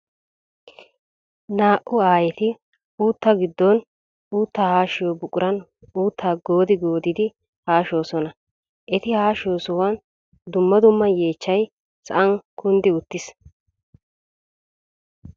Naa'u aayetti uutta gidon uutta haashiyo buquran uutta gooddi gooddi haashshosonna. Etti haashshiyo sohuwan dumma dumma yeechchay sa'an kunddi uttiis.